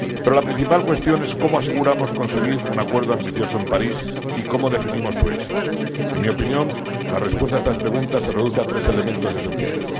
Pero la principal cuestión es cómo nos aseguramos de conseguir un acuerdo ambicioso en París y cómo definimos su éxito. En mi opinión, la respuesta a estas preguntas se reduce a tres elementos esenciales.